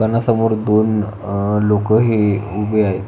दुकानासमोर दोन अह लोक हे उभे आहेत.